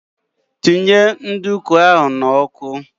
Tinye nduku ahụ n'ọkụ!